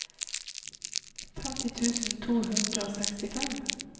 femti tusen to hundre og sekstifem